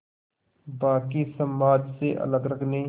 बाक़ी समाज से अलग रखने